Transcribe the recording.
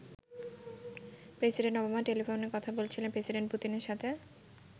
President Obama টেলিফোনে কথা বলছেন প্রেসিডেন্ট পুতিনের সাথে।